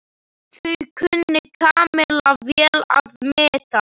Það kunni Kamilla vel að meta.